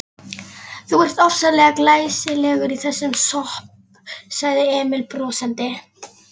Þú ert ofsalega glæsilegur í þessum slopp, sagði Emil brosandi.